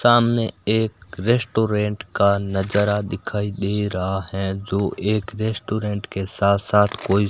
सामने एक रेस्टोरेंट का नजारा दिखाई दे रहा है जो एक रेस्टोरेंट के साथ साथ कोई--